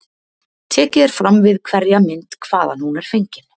Tekið er fram við hverja mynd hvaðan hún er fengin.